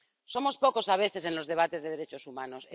Somos pocos a veces en los debates sobre derechos humanos.